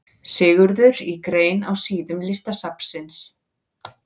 Sigurður í grein á síðum Listasafnsins.